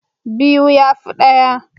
Biyu ya fi ɗaya.